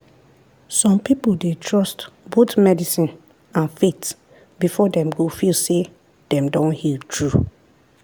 some people dey trust both medicine and faith before dem go feel say dem don heal true.